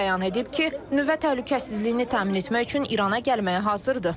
O bəyan edib ki, nüvə təhlükəsizliyini təmin etmək üçün İrana gəlməyə hazırdır.